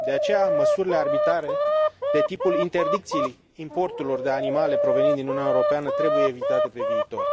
De aceea, măsurile arbitrare de tipul interdicției importurilor de animale provenind din Uniunea Europeană trebuie evitate pe viitor.